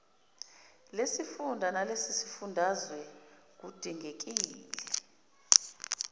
lesifunda nelesifundazwe kudingekile